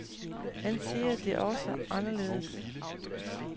Han siger det også anderledes.